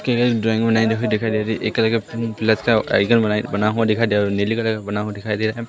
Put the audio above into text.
की एक ड्राइंग बनाई दिखाई दिखाई दे रही एक कलर का प्लस का आईकॉन बना बना हुआ दिखाई दे रहा और नीले कलर का बना हुआ दिखाई दे रहा है।